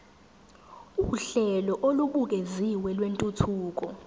uhlelo olubukeziwe lwentuthuko